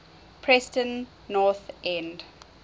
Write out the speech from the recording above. preston north end